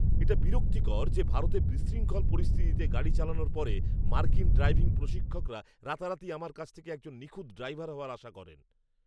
এটা বিরক্তিকর যে ভারতে বিশৃঙ্খল পরিস্থিতিতে গাড়ি চালানোর পরে মার্কিন ড্রাইভিং প্রশিক্ষকরা রাতারাতি আমার কাছ থেকে একজন নিখুঁত ড্রাইভার হওয়ার আশা করেন।